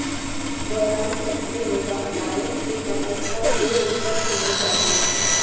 دوران سبزی غذا مائع کے کم از کم دو لیٹر پینے چاہئے